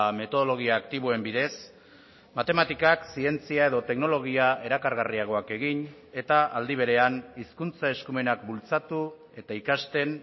metodologia aktiboen bidez matematikak zientzia edo teknologia erakargarriagoak egin eta aldi berean hizkuntza eskumenak bultzatu eta ikasten